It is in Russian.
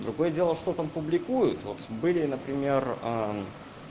другое дело что там публикуют вот были например